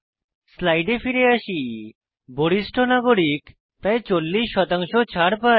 স্লাইডে ফিরে আসি বরিষ্ঠ নাগরিক প্রায় 40 শতাংশ ছাড় পায়